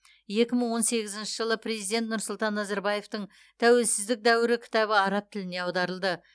екі мың он сегізінші жылы президент нұрсұлтан назарбаевтың тәуелсіздік дәуірі кітабы араб тіліне аударылды